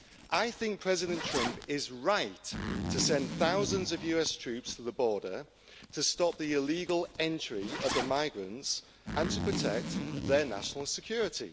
I think President Trump is right to send thousands of US troops to the border to stop the illegal entry of the migrants and to protect their national security.